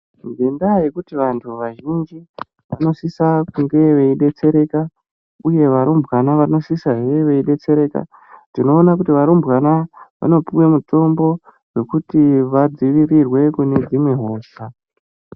Ngendaa yekuti vanthu vazhinji vanosisa kunge veidetsereka uye varumbwana vanosisezve veidetsereka tinoona varumbwana vanopuwe mitombo yekuti vadzivirirwe kubva kune dzimwe hosha.